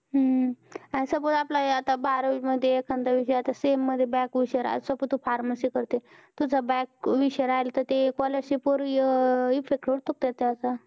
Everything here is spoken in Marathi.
हम्म अस बघ आपलं हे आता बारावी मध्ये एखादा विषय sem मध्ये back हुशार असं पण तु pharmacy करते तुझ back विषय राहील तर scholarship वर effect पडतो का तेच